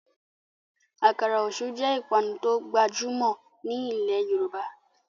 Àkàrà Òṣú jé ipanu to gbajumọ ní ilè yorùbá